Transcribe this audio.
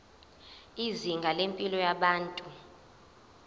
izinga lempilo yabantu